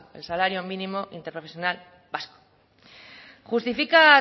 el salario mínimo interprofesional vasco justifica